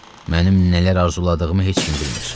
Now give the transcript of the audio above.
Mənim nələr arzuladığımı heç kim bilmir.